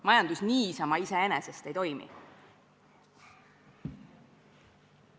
Majandus iseenesest ei toimi.